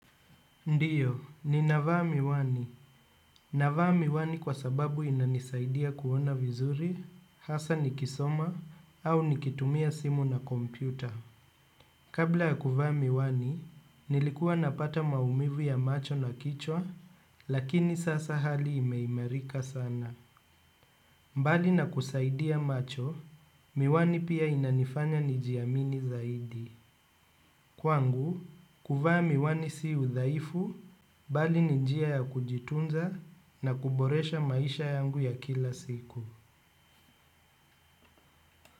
Ndiyo ninavaa miwani. Navaa miwani kwa sababu inanisaidia kuona vizuri hasa nikisoma au nikitumia simu na kompyuta. Kabla ya kuvaa miwani nilikuwa napata maumivu ya macho na kichwa lakini sasa hali imeimerika sana. Mbali na kusaidia macho, miwani pia inanifanya nijiamini zaidi. Kwangu, kuvaa miwani si udhaifu bali ni njia ya kujitunza na kuboresha maisha yangu ya kila siku.